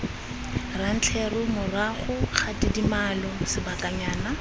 rantleru morago ga tidimalo sebakanyana